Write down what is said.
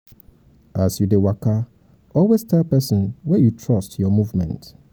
as you de waka always tell persin wey you fit trust your your movement